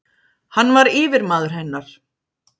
Hann var yfirmaður hennar